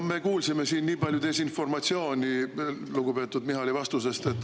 No me kuulsime siin nii palju desinformatsiooni lugupeetud Michali vastusest.